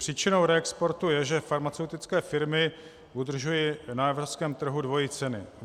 Příčinou reexportu je, že farmaceutické firmy udržují na evropském trhu dvojí ceny.